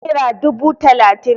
naira dubu talatin